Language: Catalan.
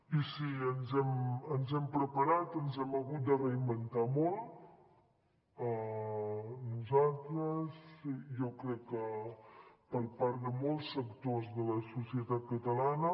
i sí ens hem preparat ens hem hagut de reinventar molt nosaltres i jo crec que part de molts sectors de la societat catalana